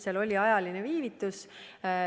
Seal oli ajaline vahe.